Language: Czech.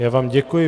Já vám děkuji.